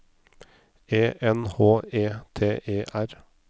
E N H E T E R